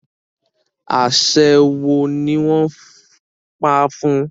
aṣe wọ ní wón pá fun?